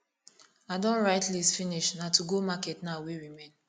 i don write list finish na to go market now wey remain